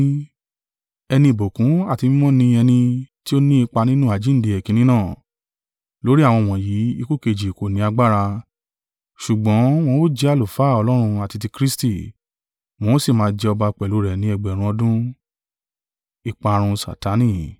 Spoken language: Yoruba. Ẹni ìbùkún àti mímọ́ ni ẹni tí ó ní ipa nínú àjíǹde èkínní náà. Lórí àwọn wọ̀nyí ikú ẹ̀ẹ̀kejì kò ní agbára, ṣùgbọ́n wọn ó jẹ́ àlùfáà Ọlọ́run àti ti Kristi, wọn ó sì máa jẹ ọba pẹ̀lú rẹ̀ ní ẹgbẹ̀rún (1,000) ọdún.